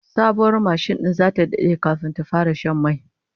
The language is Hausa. Sabuwar mashin din zata dade kafin ta fara shan mai